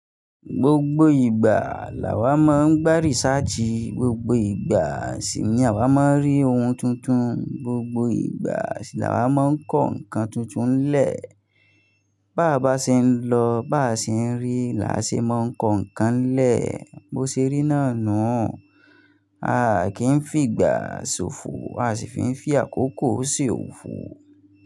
Gbogbo ìgbà làwà máa ń gba research, gbogbo ìgbà sì ni àwa máa ń rí ohun tuntun, gbogbo ìgbà sì làwà máa ń kọ́ nǹkan tuntun lè. Bá à bá ṣe ń lọ, bá à ṣe ń rí, là á ṣe máa ń kọ́ nǹkan lè. Bo ṣe rí náà nu, a kì í figbá ṣòfò, a sì fi ń fí àkókò ṣe òfo.